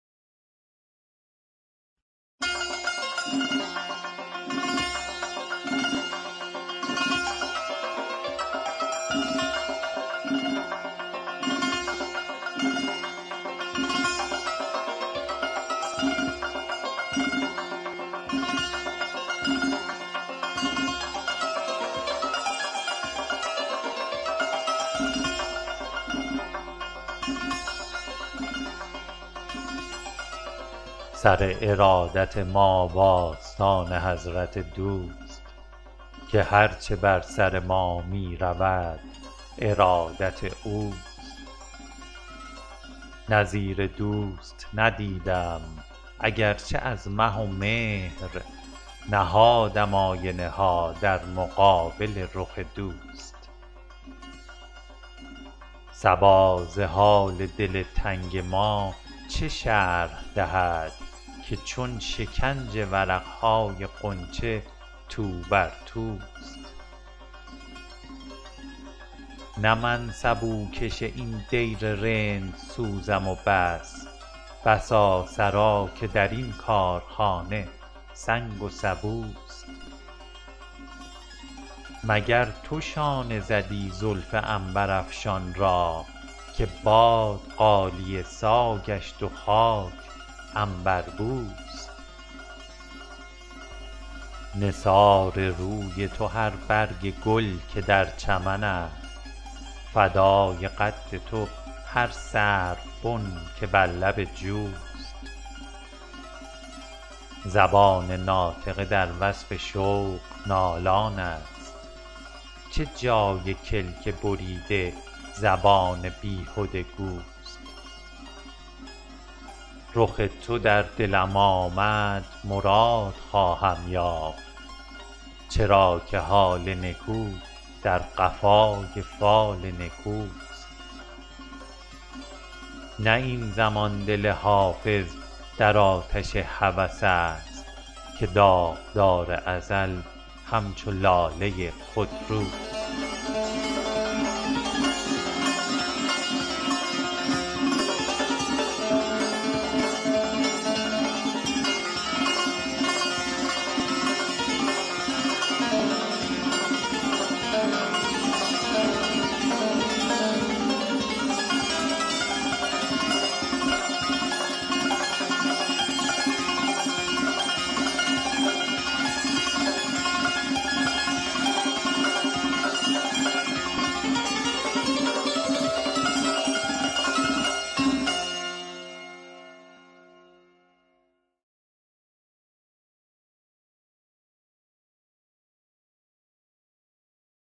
سر ارادت ما و آستان حضرت دوست که هر چه بر سر ما می رود ارادت اوست نظیر دوست ندیدم اگر چه از مه و مهر نهادم آینه ها در مقابل رخ دوست صبا ز حال دل تنگ ما چه شرح دهد که چون شکنج ورق های غنچه تو بر توست نه من سبوکش این دیر رندسوزم و بس بسا سرا که در این کارخانه سنگ و سبوست مگر تو شانه زدی زلف عنبرافشان را که باد غالیه سا گشت و خاک عنبربوست نثار روی تو هر برگ گل که در چمن است فدای قد تو هر سروبن که بر لب جوست زبان ناطقه در وصف شوق نالان است چه جای کلک بریده زبان بیهده گوست رخ تو در دلم آمد مراد خواهم یافت چرا که حال نکو در قفای فال نکوست نه این زمان دل حافظ در آتش هوس است که داغدار ازل همچو لاله خودروست